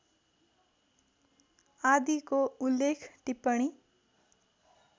आदिको उल्लेख टिप्पणी